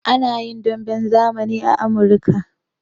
A na yin damben zamani a Amurika.